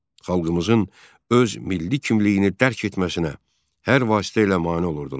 Xalqımızın öz milli kimliyini dərk etməsinə hər vasitə ilə mane olurdular.